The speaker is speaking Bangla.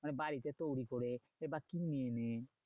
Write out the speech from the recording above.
মানে বাড়িতে তৈরী করে এবার